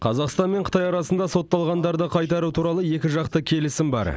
қазақстан мен қытай арасында сотталғандарды қайтару туралы екіжақты келісім бар